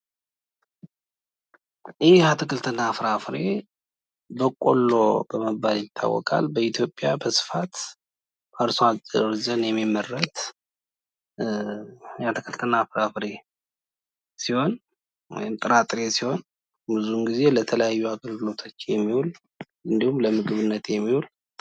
ይህ አትክልትና ፍራፍሬ በቆሎ ይባላል። በኢትዮጵያ በብዛት በአርሶአደሮች የሚመረት የጥራጥሬ አይነት ሲሆን፤ ብዙውን ጊዜ ለተለያዩ አገልግሎቶች የሚውል እንዲሁም ለምግብነት የሚውል የጥራጥሬ አይነት ነው።